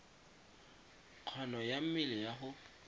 kgono ya mmele ya go